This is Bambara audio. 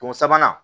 Don sabanan